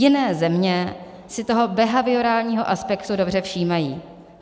Jiné země si toho behaviorálního aspektu dobře všímají.